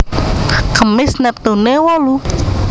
Kemis neptune wolu